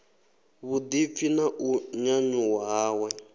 vhuḓipfi na u nyanyuwa hawe